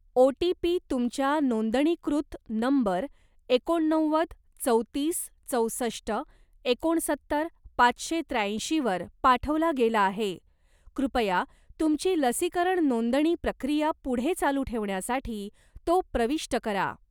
OTP. तुमच्या नोंदणीकृत number एकोणनव्वद चौतीस चौसष्ट एकोणसत्तर पाचशे त्र्याऐंशी वर पाठवला गेला आहे, कृपया तुमची लसीकरण नोंदणी प्रक्रिया पुढे चालू ठेवण्यासाठी तो प्रविष्ट करा.